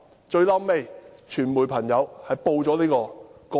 "最後，傳媒朋友報道了這宗個案。